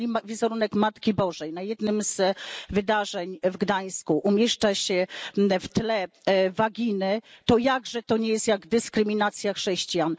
Jeżeli wizerunek Matki Bożej na jednym z wydarzeń w Gdańsku umieszcza się w tle waginy, to jakże to nie jest dyskryminacja chrześcijan?